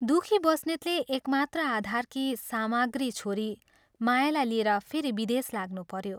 दुःखी बस्नेतले एकमात्र आधारकी सामग्री छोरी मायालाई लिएर फेरि विदेश लाग्नुपऱ्यो।